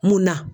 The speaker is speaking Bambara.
Munna